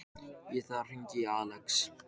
Ég þarf að hringja í Axel.